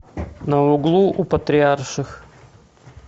на углу у патриарших